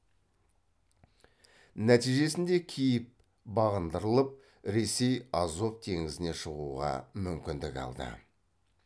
нәтижесінде киев бағындырылып ресей азов теңізіне шығуға мүмкіндік алды